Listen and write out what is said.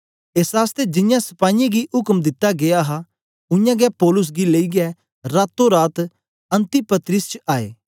एस आसतै जियां सपाईयें गी उक्म दिता गीया हा उयांगै पौलुस गी लेईयै रातो रात अन्तिपत्रिस च आए